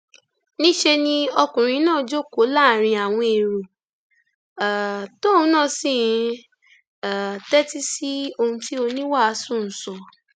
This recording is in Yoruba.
níṣẹ ni ọkùnrin náà jókòó láàrin àwọn èrò um tóun náà sì ń um tẹtí sí ohun tí oníwàásù ń sọ